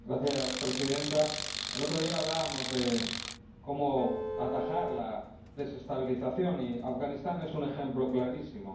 Señora Presidenta, el otro día hablamos de cómo atajar la desestabilización, y Afganistán es un ejemplo clarísimo.